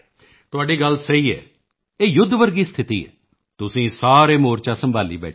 ਤੁਹਾਡੀ ਗੱਲ ਸਹੀ ਹੈ ਇਹ ਯੁੱਧ ਵਰਗੀ ਸਥਿਤੀ ਹੈ ਤੁਸੀਂ ਸਾਰੇ ਮੋਰਚਾ ਸੰਭਾਲੀ ਬੈਠੇ ਹੋ